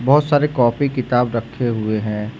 बहुत सारे कॉपी किताब रखे हुए हैं।